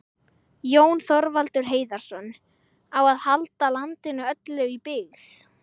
Jón Þorvaldur Heiðarsson,: Á að halda landinu öllu í byggð?